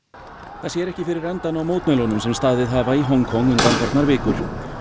það sér ekki fyrir endann á mótmælunum sem staðið hafa í Hong Kong undanfarnar vikur